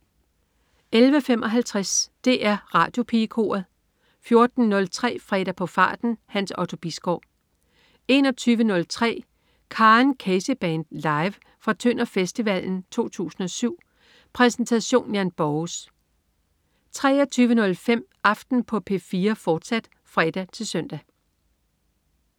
11.55 DR Radiopigekoret 14.03 Fredag på farten. Hans Otto Bisgaard 21.03 Karen Casey Band. Live. Fra Tønder Festival 2007. Præsentation: Jan Borges 23.05 Aften på P4, fortsat (fre-søn)